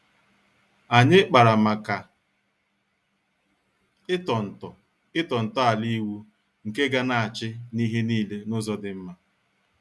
Anyị kpara màkà ịtọ nto ịtọ nto ala ịwụ nke ga-na achị n'ihe niile n'ụzọ dị mma.